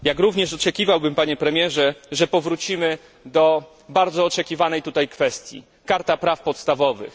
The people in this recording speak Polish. Jak również oczekiwałbym, Panie Premierze, że powrócimy do bardzo oczekiwanej tutaj kwestii Karta Praw Podstawowych.